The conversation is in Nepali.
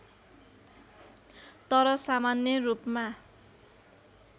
तर सामान्य रूपमा